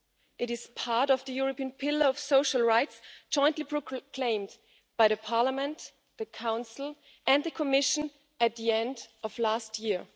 It is part of the European pillar of social rights jointly proclaimed by Parliament, the Council and the Commission at the end of last year.